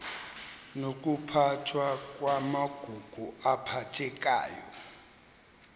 nokuphathwa kwamagugu aphathekayo